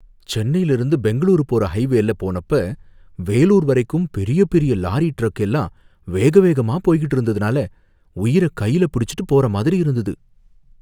சென்னையில இருந்து பெங்களூருக்கு போற ஹைவேல போனப்ப வேலூர் வரைக்கும் பெரிய பெரிய லாரி டிரக் எல்லாம் வேகவேகமா போய்கிட்டு இருந்ததுனால உயிர கையில பிடிச்சுட்டு போற மாதிரி இருந்தது